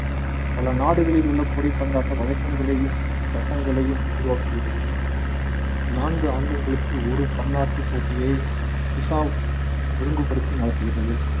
பல நாடுகளில் உள்ள கூடை பந்தாட்ட வழக்கங்களையும் சட்டங்களையும் உருவாக்குகிறது நான்கு ஆண்டுகளுக்கு ஒரு பன்னாட்டு போட்டியை ஒழுங்குபடுத்தி நடத்துகிறது